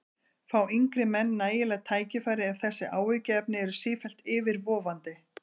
Fá yngri menn nægileg tækifæri ef þessi áhyggjuefni eru sífellt yfirvofandi?